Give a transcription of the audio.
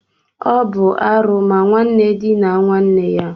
Ọ bụ arụ ma nwanne dinaa nwanne ya